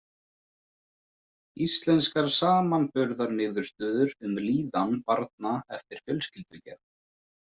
Íslenskar samanburðarniðurstöður um líðan barna eftir fjölskyldugerð.